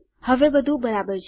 હવે બધું બરાબર છે